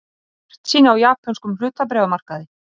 Bjartsýni á japönskum hlutabréfamarkaði